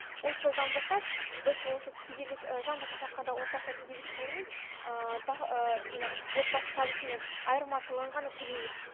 осы жылдан бастап біз осы кедейлік жан басына шаққанда орташа кедейлік шегін жаңағы отбасы табысымен айырмашылығын ғана төлейміз